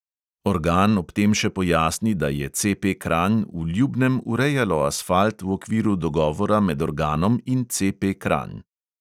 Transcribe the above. Organ ob tem še pojasni, da je CP kranj v ljubnem urejalo asfalt v okviru dogovora med organom in CP kranj.